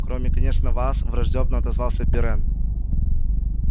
кроме конечно вас враждёбно отозвался пиренн